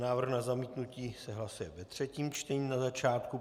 Návrh na zamítnutí se hlasuje ve třetím čtení na začátku.